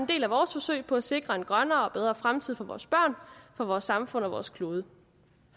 del af vores forsøg på at sikre en grønnere og bedre fremtid for vores børn vores samfund og for vores klode